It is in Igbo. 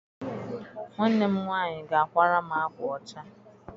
Nwanne m nwaanyị ga-akwara m akwa ọcha.